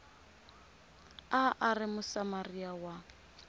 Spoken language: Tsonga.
a a ri musamariya wa